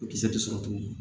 O kisɛ de sɔrɔ cogo